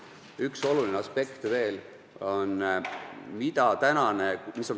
Üks oluline aspekt on veel.